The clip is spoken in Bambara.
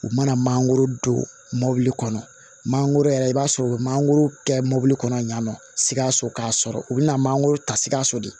U mana manankoro don mobili kɔnɔ manankoro yɛrɛ i b'a sɔrɔ u bɛ mangoro kɛ mɔbili kɔnɔ yan nɔ sikaso k'a sɔrɔ u bɛna mangoro ta sikaso de